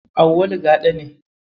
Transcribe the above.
Auwalu Gaɗa ne.